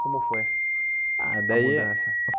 Como foi a ah daí mudança?